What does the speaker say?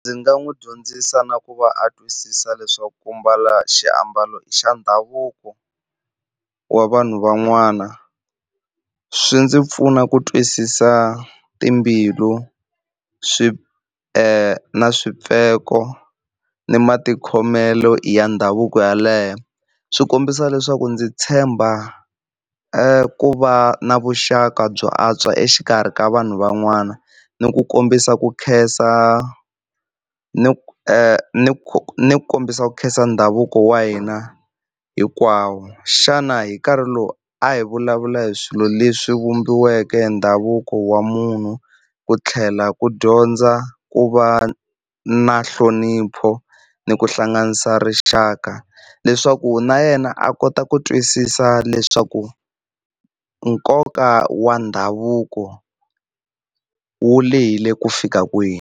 Ndzi nga n'wi dyondzisa na ku va a twisisa leswaku ku mbala xiambalo xa ndhavuko wa vanhu van'wana, swi ndzi pfuna ku twisisa timbilus wi na swimpfeko ni matikhomelo ya ndhavuko yaleyo. Swi kombisa leswaku ndzi tshemba ku va na vuxaka byo antswa exikarhi ka vanhu van'wana, ni ku kombisa ku khensa ni ni ni ku kombisa ku khensa ndhavuko wa hina hinkwawo. Xana hi nkarhi lowu a hi vulavula hi swilo leswi vumbiweke hi ndhavuko wa munhu, ku tlhela ku dyondza ku va na nhlonipho ni ku hlanganisa rixaka leswaku na yena a kota ku twisisa leswaku nkoka wa ndhavuko wu lehile ku fika kwihi.